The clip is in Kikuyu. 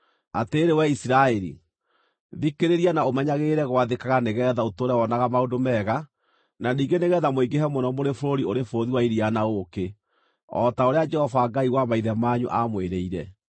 Atĩrĩrĩ wee Isiraeli, thikĩrĩria na ũmenyagĩrĩre gwathĩkaga nĩgeetha ũtũũre wonaga maũndũ mega, na ningĩ nĩgeetha mũingĩhe mũno mũrĩ bũrũri ũrĩ bũthi wa iria na ũũkĩ, o ta ũrĩa Jehova Ngai wa maithe manyu aamwĩrĩire.